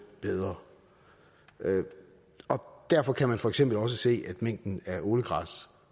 bedre og derfor kan man for eksempel også se at mængden af ålegræs